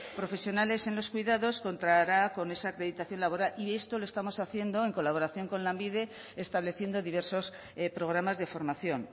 profesionales en los cuidados contará con esa acreditación laboral y esto lo estamos haciendo en colaboración con lanbide estableciendo diversos programas de formación